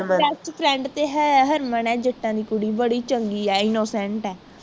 bestfriend ਤੇ ਹੈ harman ਤੇ ਹਰਮਨ ਹੈ ਜੱਟਾਂ ਦੀ ਕੁੜੀ ਬੜੀ ਚੰਗੀ ਹੈ innocent ਹੈ